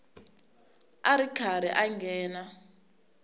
a ri karhi a nghena